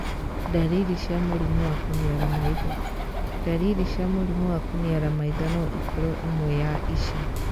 Ndariri cia mũrimũ wa kũniara maitho. Ndariri cia mũrimũ wa kũniara maitho no ikorũo ĩmwe ya ici.